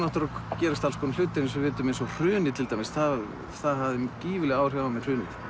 gerast alls konar hlutir eins og við vitum eins og hrunið til dæmis það það hafði gífurleg áhrif á mig